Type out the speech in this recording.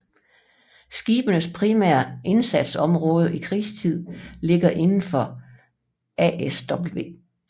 Skibenes primære indsatsområde i krigtid ligger indenfor ASW